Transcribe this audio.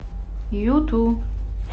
юту